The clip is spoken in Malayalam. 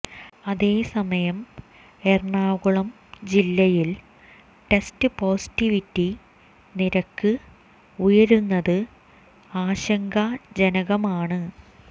അതേസമയം എറണാകുളം ജില്ലയിൽ ടെസ്റ്റ് പോസിറ്റിവിറ്റി നിരക്ക് ഉയരുന്നത് ആശങ്കാ ജനകമാണ്